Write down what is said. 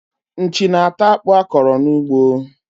Nchi na-ata akpụ a kọrọ n'ugbo.